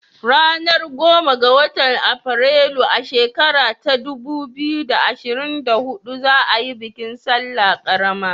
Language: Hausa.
Ranar goma ga watan Afrilu, a shekara ta dubu biyu da ashrin da hudu za a yi bikin salla ƙarama